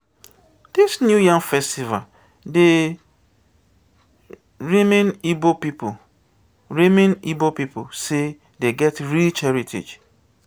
dis new yam festival dey reming ibo pipu reming ibo pipu sey dey get rich heritage.